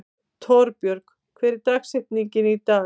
Torbjörg, hver er dagsetningin í dag?